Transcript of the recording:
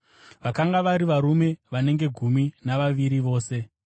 Vakanga vari varume vanenge gumi navaviri vose.